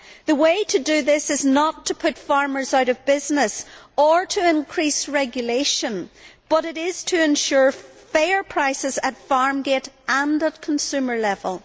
The way to do this is not to put farmers out of business, or to increase regulation, but to ensure fair prices both at farm gate and at consumer level.